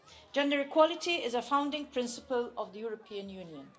Gender equality is a founding principle of the European Union.